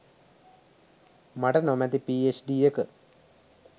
මට නොමැති පීඑච්ඩී එක